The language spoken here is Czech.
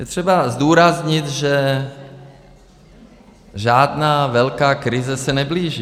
Je třeba zdůraznit, že žádná velká krize se neblíží.